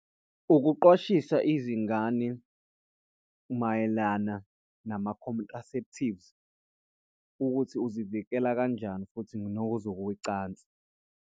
Ukuqwashisa izingane mayelana nama-contraceptives ukuthi uzivikela kanjani futhi nokozokocansi.